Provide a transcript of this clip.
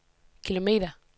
kilometer